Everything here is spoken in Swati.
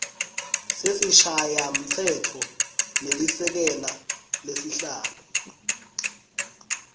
sesishayamtsetfo nelisekela lasihlalo